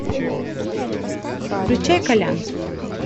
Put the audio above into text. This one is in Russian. включай колян